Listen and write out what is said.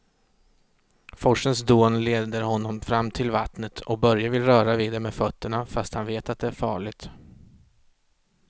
Forsens dån leder honom fram till vattnet och Börje vill röra vid det med fötterna, fast han vet att det är farligt.